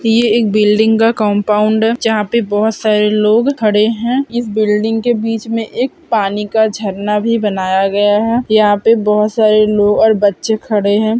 ये एक बिल्डिंग का कंपाउंड है जहाँ पे बहोत सारे लोग खड़े हैं इस बिल्डिंग के बीच मे एक पानी का झरना भी बनाया गया है यहाँ पर बहोत सारे लोग और बच्चे खड़े हैं।